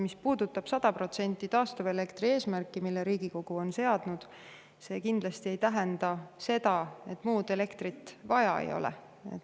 Mis puudutab 100% taastuvelektri eesmärki, mille Riigikogu on seadnud, siis see kindlasti ei tähenda seda, et muud elektrit vaja ei ole.